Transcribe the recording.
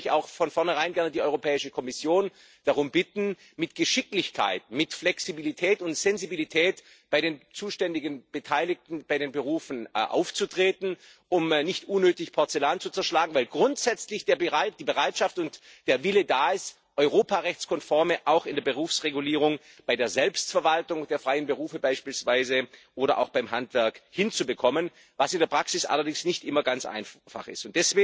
Deswegen würde ich auch von vornherein die Europäische Kommission darum bitten, mit Geschicklichkeit, mit Flexibilität und Sensibilität bei den zuständigen Beteiligten bei den Berufen aufzutreten, um nicht unnötig Porzellan zu zerschlagen, weil grundsätzlich bereits die Bereitschaft und der Wille da sind, Europarechtskonformität auch in der Berufsregulierung, bei der Selbstverwaltung der freien Berufe beispielsweise oder auch beim Handwerk, hinzubekommen, was in der Praxis allerdings nicht immer ganz einfach ist.